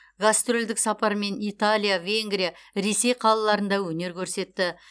гастрольдік сапармен италия венгрия ресей қалаларында өнер көрсетті